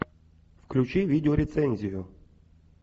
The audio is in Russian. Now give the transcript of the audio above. включи видеорецензию